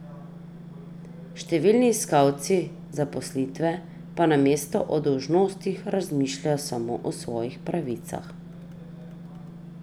Številni iskalci zaposlitve pa namesto o dolžnostih razmišljajo samo o svojih pravicah.